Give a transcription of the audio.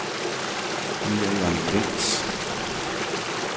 Miriam Lentz